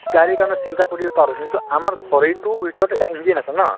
গাড়ীৰ কাৰণে চিন্তা কৰিব পাৰো কিন্তু আমাৰ শৰীৰটোৰ ভিতৰত এটা engine আছে ন